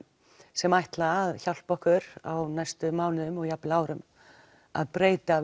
sem ætla að hjálpa okkur á næstu mánuðum og árum að breyta